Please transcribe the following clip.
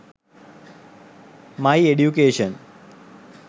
my education